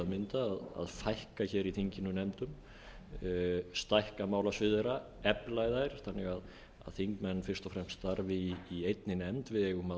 að mynda að fækka nefndunum í þinginu stækka málasvið þeirra efla þær þannig að þingmenn fyrst og fremst starfi í einni nefnd við eigum